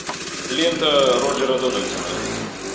лента роджера дональдсона